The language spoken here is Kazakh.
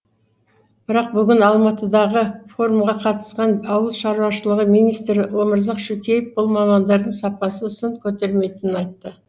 бірақ бүгін алматыдағы форумға қатысқан ауыл шаруашылығы министрі өмірзақ шөкеев бұл мамандардың сапасы сын көтермейтінін айтты